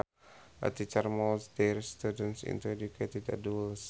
A teacher molds their students into educated adults